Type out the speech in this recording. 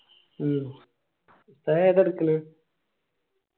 മ്മ് ഉസ്താദ് ഏതാ എടുക്കല്